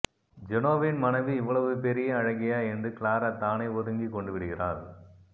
ஜெனோவின் மனைவி இவ்வளவு பெரிய அழகியா என்று கிளாரா தானே ஒதுங்கி கொண்டுவிடுகிறாள்